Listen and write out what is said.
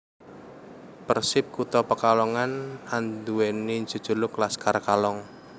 Persip Kota Pekalongan andhuweni jejuluk Laskar Kalong